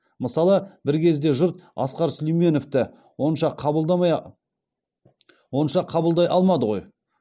мысалы бір кезде жұрт асқар сүлейменовті онша қабылдай алмады ғой